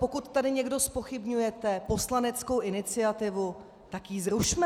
Pokud tady někdo zpochybňujete poslaneckou iniciativu, tak ji zrušme.